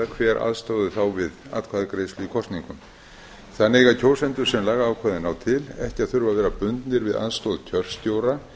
hver ákveði þá við atkvæðagreiðslu í kosningum þannig eiga kjósendur sem lagaákvæðin ná til ekki að þurfa að vera bundnir við aðstoð kjörstjóra